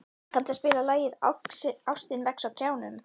Grímar, kanntu að spila lagið „Ástin vex á trjánum“?